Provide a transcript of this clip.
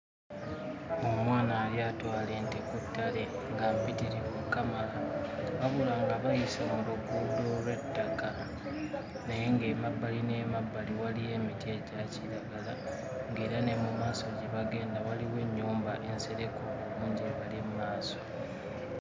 Omwana yali atwala ente ku ttale nga mpitirivu okukamala. Wabula nga bayise mu luguudo olw'ettaka naye nga emabbali n'emabbali waliyo emiti egya kiragala nga era ne mu maaso gye bagenda waliwo ennyumba ensereke obulungi ebali maaso.